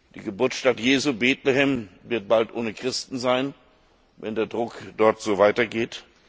Die Geburtsstadt Jesu, Bethlehem, wird bald ohne Christen sein, wenn der Druck dort so weitergeht.